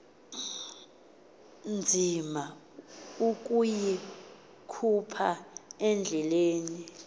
nzima ukuyikhupha endlebeni